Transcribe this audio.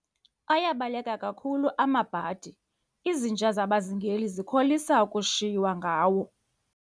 Ayabaleka kakhulu amabhadi, izinja zabazingeli zikholisa ukushiywa ngawo.